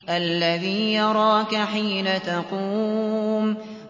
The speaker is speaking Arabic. الَّذِي يَرَاكَ حِينَ تَقُومُ